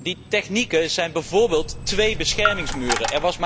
Die technieken zijn bijvoorbeeld twee beschermingsmuren.